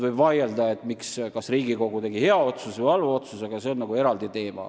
Võib vaielda, kas Riigikogu tegi hea või halva otsuse, aga see on eraldi teema.